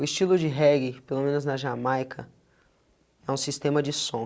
O estilo de reggae, pelo menos na Jamaica, é um sistema de som.